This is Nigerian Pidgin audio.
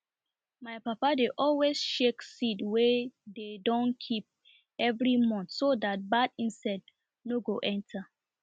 my papa dey always shake seed wey dey don keep evri month so dat bad insect nor go enter